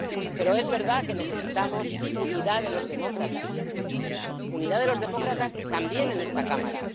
Pero es verdad que necesitamos la unidad de los demócratas, la unidad de los demócratas también en esta Cámara.